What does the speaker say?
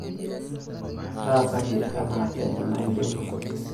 taasaki enavenye nayieu